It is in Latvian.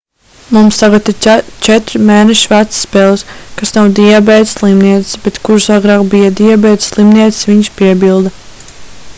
mums tagad ir 4 mēnešus vecas peles kas nav diabēta slimnieces bet kuras agrāk bija diabēta slimnieces viņš piebilda